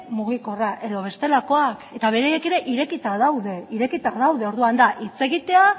mugikorra edo bestelakoak eta beraiek ere irekita daude orduan da hitz egitea